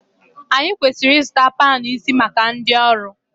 Anyị kwesịrị ịzụta panu isi maka ndị ọrụ